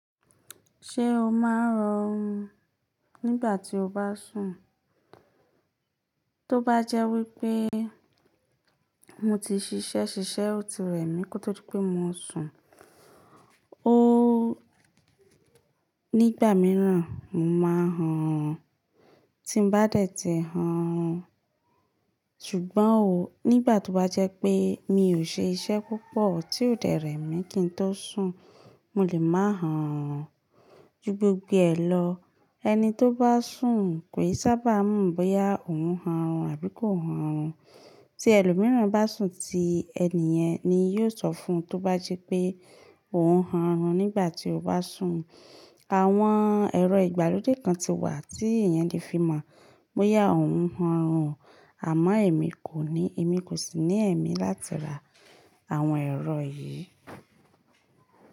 Ṣé o máa ń han orun nígbà tí o bá sùn? Tó bá jẹ́ wípé mo ti ṣiṣẹ́, ṣiṣẹ́ o ti rẹ̀ mí kó tó di pé mo sùn, óóó nígbà míràn mo máa ń han orun tí ń bá dẹ̀ tì han orun Ṣùgbọ́n o nígbà tó bá jẹ́ pé mi ò ṣe iṣẹ́ púpọ̀ tí ò dé rẹ̀ mí kí n tó sùn, mo lè máa rọrún ju gbogbo ẹ̀ lọ. Ẹni tó bá sùn kò ì sábà mọ̀ bóyá òun ń rọrún àbí kò ń rọrún. Tí ẹlòmíràn bá sùn tí ẹni yẹn ni yóò sọ fún un tó bá jípé òun ń rọrún nígbà tí ó bá sùn. Àwọn ẹ̀rọ ìgbàlódé kan ti wà tí èèyàn lè fi mọ̀ bóyá òun ń rọrún àmọ́ èmi kò ní, èmi kò sì ní ẹ̀mí láti ra àwọn ẹ̀rọ yìí.